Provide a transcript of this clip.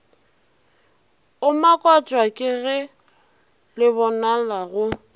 o makatšwa kege lebonala go